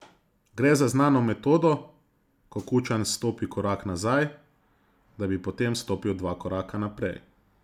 Gre za znano metodo, ko Kučan stopi korak nazaj, da bi potem stopil dva koraka naprej.